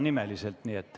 Nii et ...